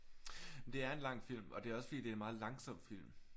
Det er en lang film. Og det er også fordi det er en meget langsom film